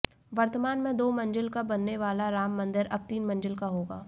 वर्तमान में दो मंजिल का बनने वाला राम मंदिर अब तीन मंजिल का होगा